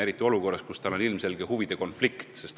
Seda eriti olukorras, kus tema puhul on tegu ilmselge huvide konfliktiga.